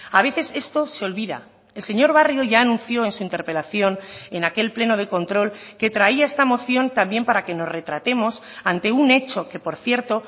a veces esto se olvida el señor barrio ya anunció en su interpelación en aquel pleno de control que traía esta moción también para que nos retratemos ante un hecho que por cierto